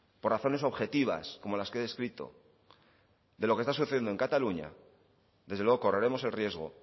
por razones objetivas como las que he descrito de lo que esta sucediendo en cataluña desde luego correremos el riesgo